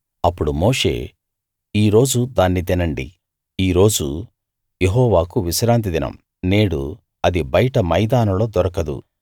అప్పడు మోషే ఈ రోజు దాన్ని తినండి ఈ రోజు యెహోవాకు విశ్రాంతి దినం నేడు అది బయట మైదానంలో దొరకదు